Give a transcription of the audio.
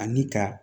Ani ka